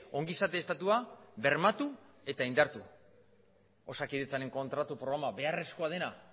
ongizate estatua bermatu eta indartu osakidetzaren kontratu programa beharrezkoa dena